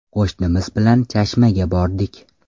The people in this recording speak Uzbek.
Qo‘shnimiz bilan Chashmaga bordik.